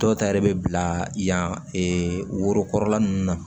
Dɔw ta yɛrɛ bɛ bila yan worokɔrɔla ninnu na